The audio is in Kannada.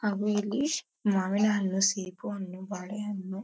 ಹಾಗು ಇಲ್ಲಿ ಮಾವಿನ ಹಣ್ಣು ಸೇಬು ಹಣ್ಣು ಬಾಳೆ ಹಣ್ಣು--